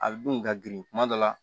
A bɛ dun ka girin kuma dɔ la